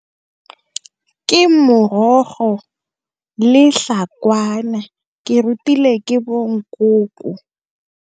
Ke morogo le tlhakwana ke rutile ke bo nkoko.